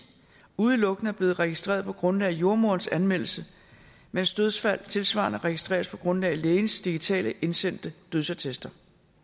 udelukkende er blevet registreret på grundlag af jordemoderens anmeldelse mens dødsfald tilsvarende registreres på grundlag af lægernes digitale indsendte dødsattester